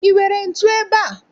I nwere ntu ebea?